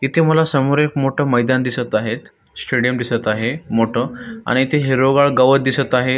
इथे मला एक समोर मोठ मैदान दिसत आहे स्टेडियम दिसत आहे मोठ आणि इथे हिरवगाळ गवत दिसत आहे.